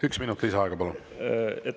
Üks minut lisaaega, palun!